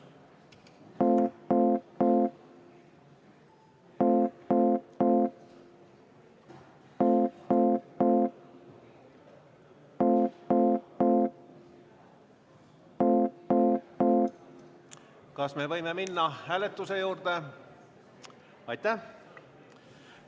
Kas võime minna hääletuse juurde?